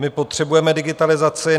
My potřebujeme digitalizaci.